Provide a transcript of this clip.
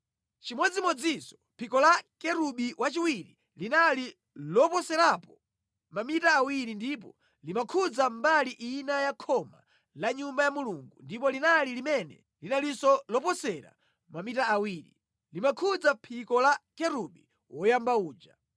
Chimodzimodzinso phiko la Kerubi wachiwiri linali loposerapo mamita awiri ndipo limakhudza mbali ina ya khoma la Nyumba ya Mulungu, ndipo linalo limene linalinso loposera mamita awiri, limakhudza phiko la Kerubi woyamba uja.